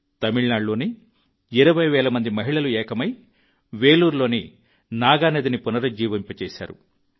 తమిళనాడులోనే 20 వేల మంది మహిళలు ఏకమై వేలూరులోని నాగా నదిని పునరుజ్జీవింపజేశారు